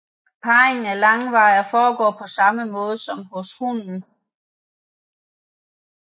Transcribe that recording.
Parringen er langvarig og foregår på samme måde som hos hunden